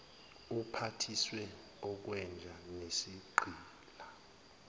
uphathiswe okwenja nesigqila